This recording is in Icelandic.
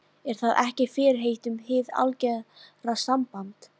Er það ekki fyrirheit um hið algera samband?